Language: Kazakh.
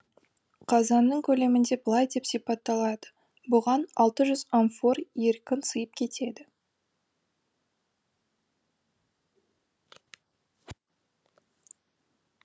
қазанның көлемінде былай деп сипатталады бұған алты жүз амфор еркін сыйып кетеді